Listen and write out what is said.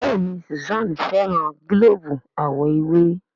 Béèni Susan féràn gilobu àwo ewé.